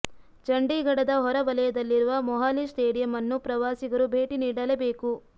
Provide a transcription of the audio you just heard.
ಚಂಡೀಘಡದ ಹೊರ ವಲಯದಲ್ಲಿರುವ ಮೊಹಾಲಿ ಸ್ಟೇಡಿಯಂ ಅನ್ನು ಪ್ರವಾಸಿಗರು ಭೇಟಿ ನೀಡಲೇಬೇಕು